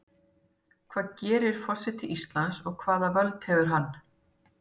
Hvað gerir forseti Íslands og hvaða völd hefur hann?